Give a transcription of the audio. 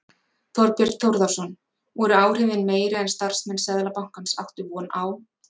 Þorbjörn Þórðarson: Voru áhrifin meiri en starfsmenn Seðlabankans áttu von á?